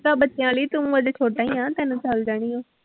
ਬੱਚਿਆਂ ਲਈ ਤੂੰ ਹਜੇ ਛੋਟਾ ਹੀ ਆਂ ਤੈਨੂੰ ਚੱਲ ਜਾਣੀ ਆਂ।